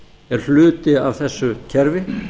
er hluti af þessu kerfi